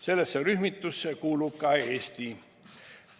Sellesse rühmitusse kuulub ka Eesti.